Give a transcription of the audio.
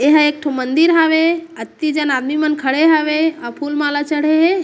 एहा एक ठो मंदिर हावे अति जन आदमी मन खड़े हावे अउ फुल माला चढ़े हे। --